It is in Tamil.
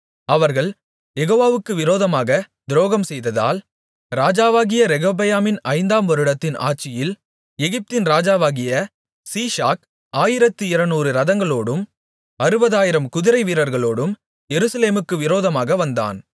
அவர்கள் யெகோவாவுக்கு விரோதமாக துரோகம்செய்ததால் ராஜாவாகிய ரெகொபெயாமின் ஐந்தாம் வருடத்தின் ஆட்சியில் எகிப்தின் ராஜாவாகிய சீஷாக் ஆயிரத்து இருநூறு இரதங்களோடும் அறுபதாயிரம் குதிரைவீரர்களோடும் எருசலேமுக்கு விரோதமாக வந்தான்